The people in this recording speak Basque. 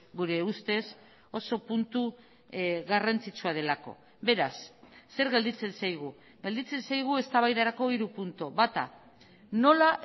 gure ustez oso puntu garrantzitsua delako beraz zer gelditzen zaigu gelditzen zaigu eztabaidarako hiru puntu bata nola